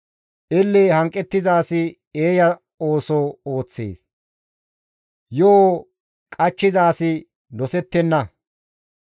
Elle hanqettiza asi eeya ooso ooththees; yo7o qachchiza asi dosettenna.